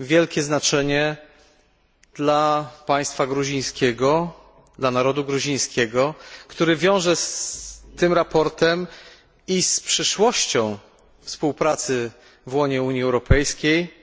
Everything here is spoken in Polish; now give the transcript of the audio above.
wielkie znaczenie dla państwa gruzińskiego, dla narodu gruzińskiego, który wiąże z tym sprawozdaniem i z przyszłością współpracy w łonie Unii Europejskiej,